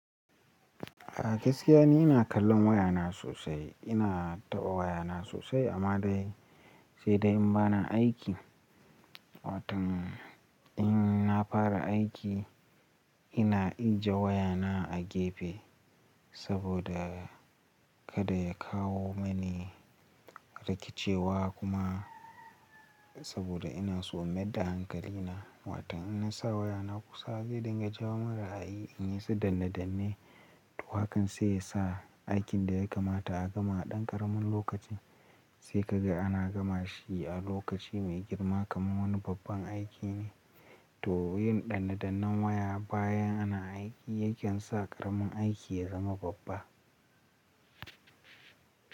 A gaskiya ni ina kallon wayana sosai, ina taɓa wayana sosai amma dai sai dai in bana aiki. Watan in na fara aiki ina aje wayana a gefe saboda kada ya kawo mani rikicewa kuma saboda ina so in maida hankalina. Watan idan na sa wayana kusa zai dinga jawo min ra'ayi in yi ta danne-danne. To hakan sai ya sa aikin da ya kamata a gama a ɗan ƙaramin lokaci sai ka ga ana gama shi a lokaci mai girma kamar wani babban aiki ne. To yin danne-dannen waya bayan ana aiki yake sa ƙaramin aiki ya zama babba.